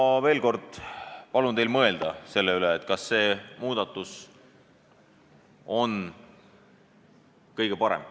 Ma veel kord palun teil mõelda selle üle, kas see muudatus on kõige parem.